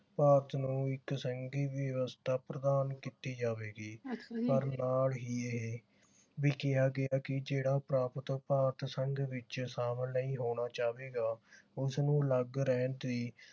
ਭਾਰਤ ਨੂੰ ਇਕ ਸੰਘੀ ਵਿਵਸਥਾ ਪ੍ਰਦਾਨ ਕੀਤੀ ਜਾਵੇਗੀ ਪਰ ਨਾਲ ਹੀ ਇਹ ਵੀ ਕਿਹਾ ਗਿਆ ਕਿ ਜਿਹੜਾ ਪ੍ਰਾਪਤ ਭਾਰਤ ਸੰਘ ਵਿਚ ਸ਼ਾਮਿਲ ਨਹੀਂ ਹੋਣਾ ਚਾਵੇਗਾ ਉਸਨੂੰ ਅਲੱਗ ਰਹਿਣ ਦੀ